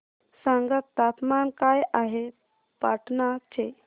सांगा तापमान काय आहे पाटणा चे